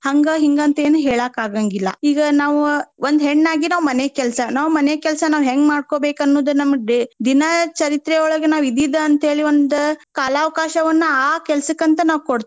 ಅದ ಹಂಗ ಹಿಂಗ ಅಂತ ಏನ ಹೇಳಾಕ್ ಆಗಾಂಗಿಲ್ಲಾ. ಈಗ ನಾವ್ ಒಂದ್ ಹೆಣ್ಣಾಗಿ ನಾವ್ ಮನೆ ಕೆಲ್ಸಾ ನಾವ್ ಮನೆ ಕೆಲ್ಸಾ ನಾವ್ ಹೆಂಗ್ ಮಾಡ್ಕೊಬೇಕ್ ಅನ್ನುದ ನಮ್ಮ day ದಿನಚರಿತ್ರೆಯೊಳಗ ನಾವ್ ಇದೀದ ಅಂತ ಹೇಳಿ ಒಂದ್ ಕಾಲಾವಕಾಶವನ್ನ ಆ ಆ ಕೆಲ್ಸಕ್ಕಂತ ನಾವ್ ಕೊಡ್ತೇವೆ.